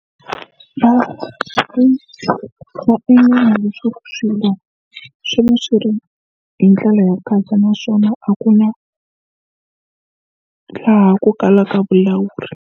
A nga endla leswaku swimilana swi va swi ri hi ndlela ya ku katsa naswona a ku na laha ku kalaka vulawuri.